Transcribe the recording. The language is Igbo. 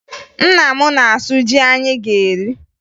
Nna m na-asụ ji anyị ga-eri